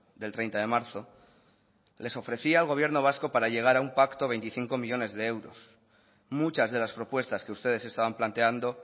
del treinta de marzo le ofrecía al gobierno vasco para llegar a un pacto veinticinco millónes de euros muchas de las propuestas que ustedes estaban planteando